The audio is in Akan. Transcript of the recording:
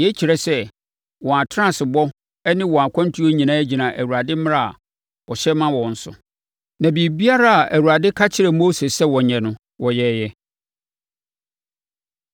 Yei kyerɛ sɛ, wɔn atenaseɛbɔ ne wɔn akwantuo nyinaa gyina Awurade mmara a ɔhyɛ ma wɔn so; na biribiara a Awurade ka kyerɛɛ Mose sɛ wɔnyɛ no, wɔyɛeɛ.